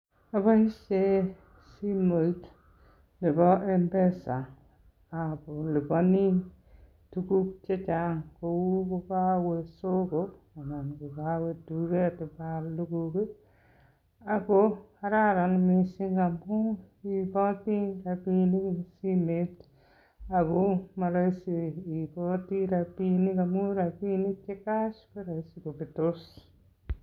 Aboishe simoit nebo mpesa ako aliponi tukuk che chang kou ko kowe soko anan ko kowe duket ibaal tukuk ako kararan missing amu iiboti rabiinik eng simet ako marahisi iiboti rabiinik amu rabiinik che cash ko rahisi kobetos.